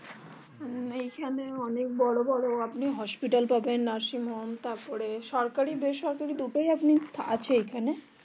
এইখানে অনেক বড়ো বড়ো হাসপাতাল পাবেন তারপর নার্সিং হোম তারপরে সরকারি বেসরকারি দুটোই আপনি আছে এখানে